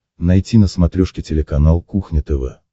найти на смотрешке телеканал кухня тв